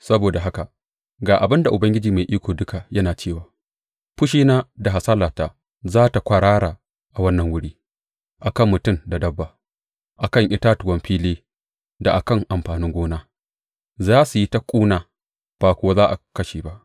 Saboda haka ga abin da Ubangiji Mai Iko Duka yana cewa fushina da hasalata za su kwarara a wannan wuri, a kan mutum da dabba, a kan itatuwan fili da a kan amfanin gona, za su yi ta kuna, ba kuwa za a kashe ba.